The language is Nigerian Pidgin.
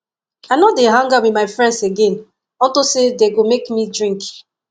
i no dey hang out with my friends again unto say dey go make me drink